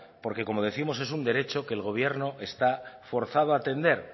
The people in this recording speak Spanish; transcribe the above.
porque como décimos es un derecho que el gobierno está forzado a atender